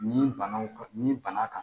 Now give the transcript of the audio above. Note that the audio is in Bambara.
Ni banaw ni bana kan